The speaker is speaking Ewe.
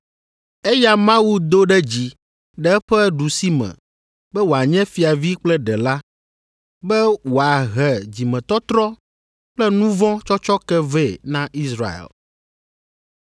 Eya Mawu do ɖe dzi ɖe eƒe ɖusime be wòanye Fiavi kple Ɖela, be wòahe dzimetɔtrɔ kple nu vɔ̃ tsɔtsɔke vɛ na Israel.